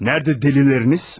Nəridə dəlilləriniz?